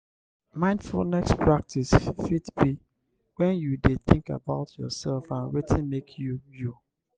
mindfulness practice fit be when you de think about yourself and wetin make you you